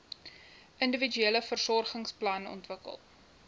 individuele versorgingsplan ontwikkel